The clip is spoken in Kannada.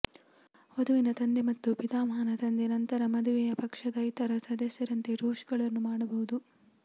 ವಧುವಿನ ತಂದೆ ಮತ್ತು ಪಿತಾಮಹನ ತಂದೆ ನಂತರ ಮದುವೆಯ ಪಕ್ಷದ ಇತರ ಸದಸ್ಯರಂತೆ ಟೋಸ್ಟ್ಗಳನ್ನು ಮಾಡಬಹುದು